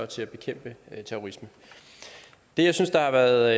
til at bekæmpe terrorisme det jeg synes har været